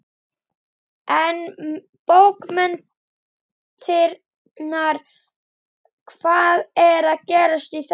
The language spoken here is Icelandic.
En bókmenntirnar, hvað er að gerast í þeim?